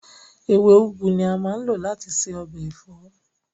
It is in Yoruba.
Ewé úgú ni a máa ń lò láti ṣe ọbẹ̀ ẹ̀fọ́